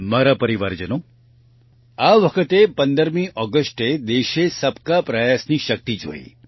મારા પરિવારજનો આ વખતે 15મી ઓગસ્ટે દેશે સબકા પ્રયાસની શક્તિ જોઈ